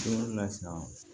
Don o la sisan